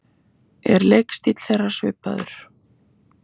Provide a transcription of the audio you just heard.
Er leikstíll þeirra svipaður?